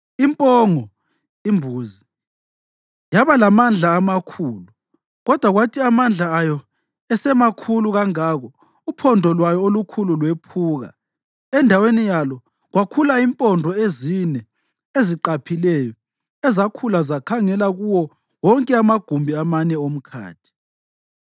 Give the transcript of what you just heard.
Impongo (imbuzi) yaba lamandla amakhulu, kodwa kwathi amandla ayo esemakhulu kangako uphondo lwayo olukhulu lwephuka, endaweni yalo kwakhula impondo ezine eziqaphileyo ezakhula zakhangela kuwo wonke amagumbi amane omkhathi.